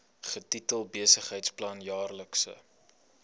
getitel besigheidsplan jaarlikse